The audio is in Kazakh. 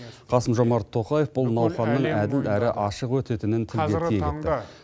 қасым жомарт тоқаев бұл науқанның әділ әрі ашық өтетінін тілге тиек етті